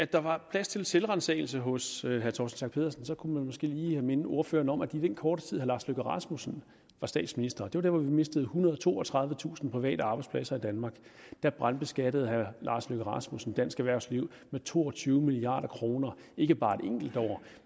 der var plads til selvransagelse hos herre torsten schack pedersen kunne man måske lige minde ordføreren om at den korte tid herre lars løkke rasmussen var statsminister var dér hvor vi mistede ethundrede og toogtredivetusind private arbejdspladser i danmark og dér brandskattede herre lars løkke rasmussen dansk erhvervsliv med to og tyve milliard kroner ikke bare et enkelt år